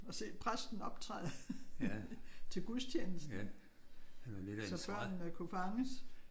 Og se præsten optræde til gudstjenesten. Så børnene kunne fanges